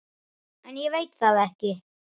En ég veit það ekki.